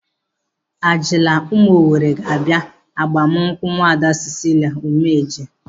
Alija ụmụ Owere ga-abia agbamnkwu Nwaada Cicilia Umeje.